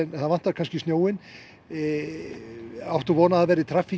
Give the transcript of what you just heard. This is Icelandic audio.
það vantar snjóinn hér áttu von á traffík